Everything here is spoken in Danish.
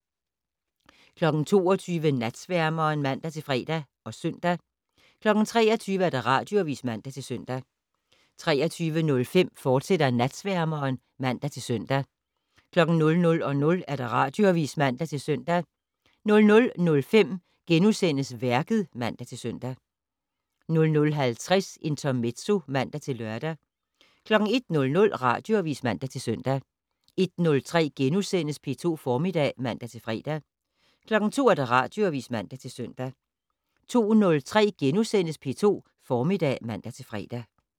22:00: Natsværmeren (man-fre og søn) 23:00: Radioavis (man-søn) 23:05: Natsværmeren, fortsat (man-søn) 00:00: Radioavis (man-søn) 00:05: Værket *(man-søn) 00:50: Intermezzo (man-lør) 01:00: Radioavis (man-søn) 01:03: P2 Formiddag *(man-fre) 02:00: Radioavis (man-søn) 02:03: P2 Formiddag *(man-fre)